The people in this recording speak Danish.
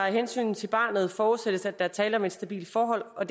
af hensyn til barnet forudsættes at der er tale om et stabilt forhold og